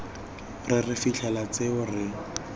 re re fitlhela tseo re